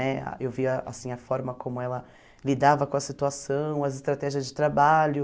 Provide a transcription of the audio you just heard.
Né eu via assim a forma como ela lidava com a situação, as estratégias de trabalho.